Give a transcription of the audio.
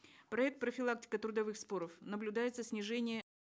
проект профилактика трудовых споров наблюдается снижение